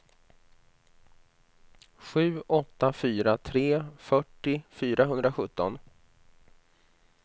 sju åtta fyra tre fyrtio fyrahundrasjutton